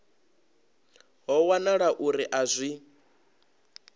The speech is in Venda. ho wanala uri a zwi